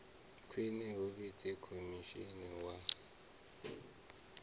khwine hu vhidzwe khotsimunene wa